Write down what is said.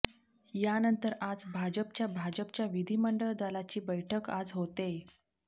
यानंतर आज भाजपच्या भाजपच्या विधिमंडळ दलाची बैठक आज होतेय